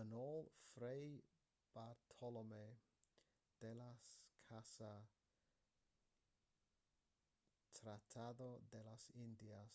yn ôl fray bartolomé de las casa tratado de las indias